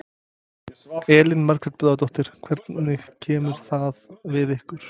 Elín Margrét Böðvarsdóttir: Hvernig kemur það við ykkur?